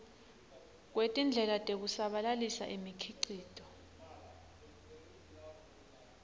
kwetindlela tekusabalalisa imikhicito